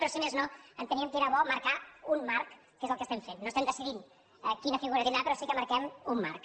però si més no enteníem que era bo marcar un marc que és el que estem fent no estem decidint quina figura tindrà però sí que marquem un marc